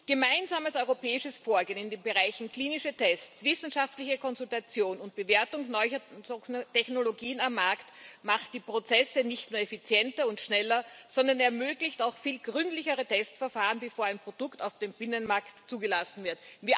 Gemeinsames europäisches Vorgehen in den Bereichen klinische Tests, wissenschaftliche Konsultation und Bewertung neuer Technologien am Markt macht die Prozesse nicht nur effizienter und schneller, sondern ermöglicht auch viel gründlichere Testverfahren, bevor ein Produkt auf dem Binnenmarkt zugelassen wird.